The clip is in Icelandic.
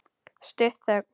Stutt þögn.